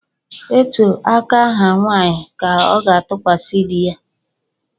Etu aka ha nwanyị ka ọ na-atụkwasị di ya